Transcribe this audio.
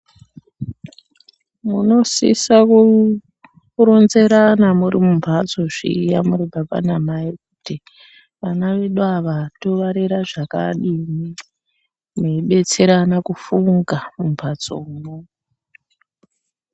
Muno sisa ku ronzerana muri mu mbatso zviya muri baba na mai kuti vana vedu ava to varera zvakadini mei betserana ku funga mu mbatso mwo.